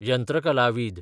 यंत्रकलावीद